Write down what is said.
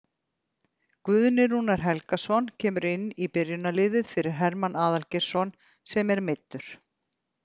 Guðni Rúnar Helgason kemur inn í byrjunarliðið fyrir Hermann Aðalgeirsson sem er meiddur.